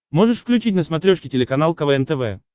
можешь включить на смотрешке телеканал квн тв